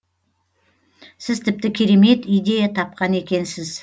сіз тіпті керемет идея тапқан екенсіз